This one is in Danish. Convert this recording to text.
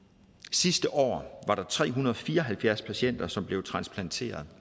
sidste år var der tre hundrede og fire og halvfjerds patienter som blev transplanteret